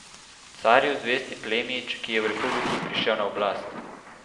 Carju zvesti plemič, ki je v republiki prišel na oblast.